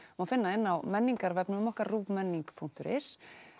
má finna inni á menningarvefnum okkar punktur is